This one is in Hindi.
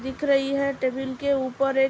दिख रही है टेबल के ऊपर एक --